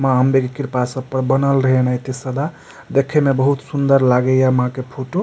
माँ अम्बे की कृपा सब पर बनल रहे अनैते सदा देखे में बहुत सूंदर लागे हिए ये माँ के फोटो --